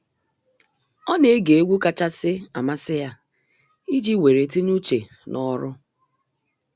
Ọ na ege egwu kachasị amasị ya iji weere tinye uche n’ọrụ.